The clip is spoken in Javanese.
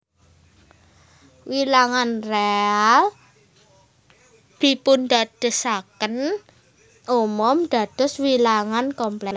Wilangan réal dipundadosaken umum dados wilangan komplèks